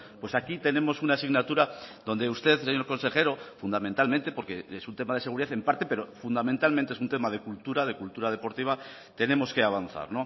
pues aquí tenemos una asignatura donde usted señor consejero fundamentalmente porque es un tema de seguridad en parte pero fundamentalmente es un tema de cultura de cultura deportiva tenemos que avanzar